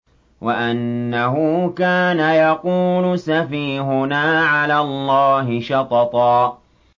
وَأَنَّهُ كَانَ يَقُولُ سَفِيهُنَا عَلَى اللَّهِ شَطَطًا